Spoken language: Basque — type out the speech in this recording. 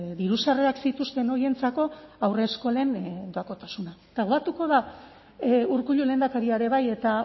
diru sarrerak zituzten horientzat haurreskolen doakotasuna eta da urkullu lehendakaria ere bai eta